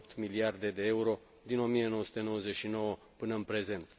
2,8 miliarde de euro din 1999 până în prezent.